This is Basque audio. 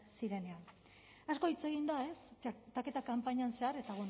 zirenean asko hitz egin da txertaketa kanpainan zehar eta